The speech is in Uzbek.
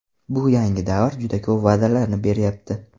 Bu yangi davr juda ko‘p va’dalarni beryapti.